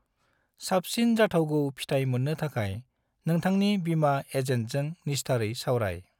साबसिन जाथावगौ फिथाय मोननो थाखाय नौथांनि बीमा एजेन्टजों निस्थारै सावराय।